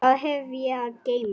Hvað hef ég að geyma?